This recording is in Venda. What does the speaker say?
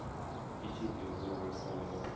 i tshi ḓi mvumvusa nga